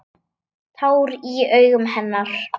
Tár í augum hennar.